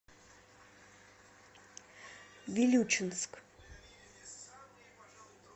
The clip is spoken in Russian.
вилючинск